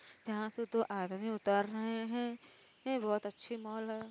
जहाँ से दो आदमी उतर रहे हैं। ये बहुत अच्छी मॉल है।